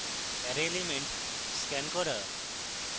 অ্যারের elements scan করা